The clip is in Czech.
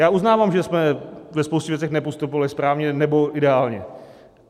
Já uznávám, že jsme ve spoustě věcech nepostupovali správně nebo ideálně.